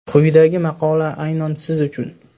Quyidagi maqola aynan siz uchun.